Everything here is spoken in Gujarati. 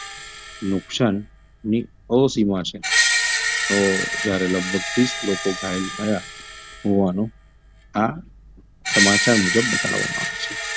નુકશાનની અસીમા છે તો જયારે લગભગ ત્રીસ લોકો ઘાયલ થયાં હોવાનું આ સમાચાર મુજબ બતાવવામાં આવે છે.